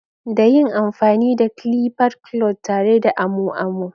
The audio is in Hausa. Da yin amfani da clippers clods tare da amo amo.